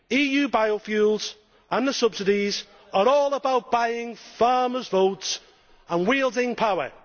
EU biofuels and the subsidies are all about buying farmers' votes and wielding power.